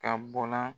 Ka bɔ la